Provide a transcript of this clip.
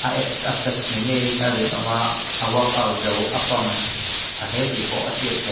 a abs a flex ni ngeiin a rinawma a workout zo a pump tha hle tih pawh a hriat theih.